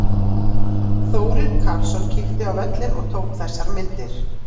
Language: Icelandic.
Þórir Karlsson kíkti á völlinn og tók þessar myndir.